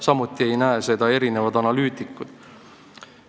Samuti pole seda näinud mitmed analüütikud.